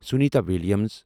Sunita Williams